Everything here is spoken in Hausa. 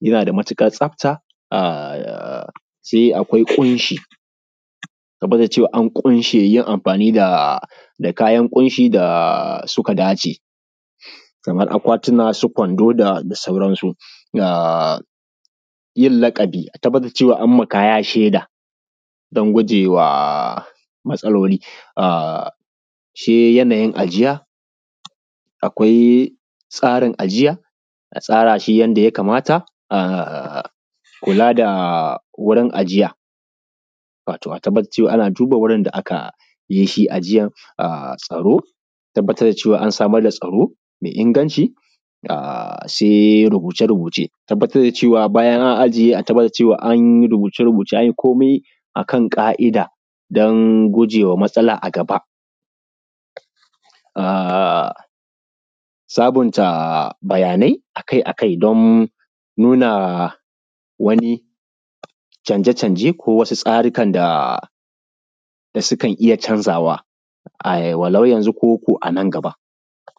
yana da matuƙar tsafta, se akwai ƙushi tabbatar da cewa an ƙunshi ‘yan amfani da kayan ƙunshi da suka dace kaman akwatuna, su kwando da sauransu, ga yin laƙabi a tabbatar an yi ma kaya sheda don gujewa matsaloli. Se yanayin ajiya, akwai tsarin ajiya, a tsara shi yanda ya kamata kula da wurin ajiya, wato a tabbatar da ana duba wurin da akai ajiya, tsaro a tabbatar da cewa an samar da tsaro mai inganci. S e rubuce-rubuce, tabbatar da cewa bayan an ajiye, a tabbatar da cewa an yi abin komai akan ƙai’da don gujewa matsala a gaba, a sabunta bayanai akai-akai don nuna wani canje-canje ko wasu tsarikan da kan iya canzawa, walau yanzu ko a nan gaba.